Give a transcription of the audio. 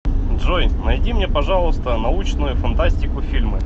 джой найди мне пожалуйста научную фантастику фильмы